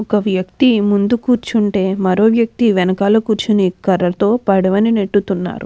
ఒక వ్యక్తి ముందు కూర్చుంటే ఒక వ్యక్తి వెనకాల కూర్చొని పడవని నెట్టుతున్నాడు.